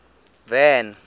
van